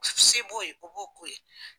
Se b'o ye o b'o k'o ye.